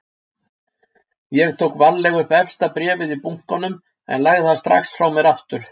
Ég tók varlega upp efsta bréfið í bunkanum en lagði það strax frá mér aftur.